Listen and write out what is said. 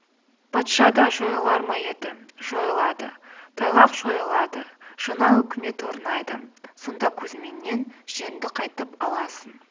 патша да жойылар ма еді жойылады тайлақ жойылады жана өкімет орнайды сонда кузьминнен жеріңді қайтып аласың